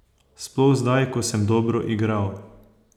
Sploh zdaj, ko sem dobro igral.